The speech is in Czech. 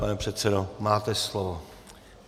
Pane předsedo, máte slovo.